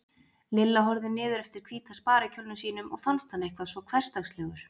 Lilla horfði niður eftir hvíta sparikjólnum sínum og fannst hann eitthvað svo hversdagslegur.